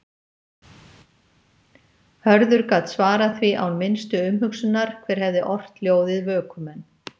Hörður gat svarað því án minnstu umhugsunar hver hefði ort ljóðið Vökumenn.